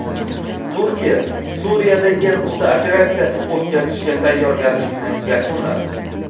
Turkiya Suriyada yer usti operatsiyasi o‘tkazishga tayyorgarlikni yakunladi.